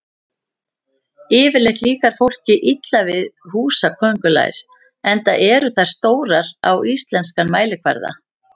Yfirleitt líkar fólki illa við húsaköngulær enda eru þær stórar á íslenskan mælikvarða.